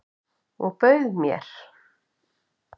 Og bauð mér.